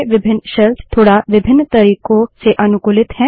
विभिन्न शेल्स थोड़ा विभिन्न तरीकों से अनुकूलित हैं